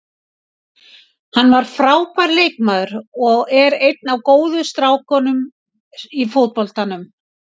Hann var frábær leikmaður og er einn af góðu strákunum í fótboltanum.